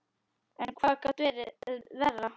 En hvað gat verið verra?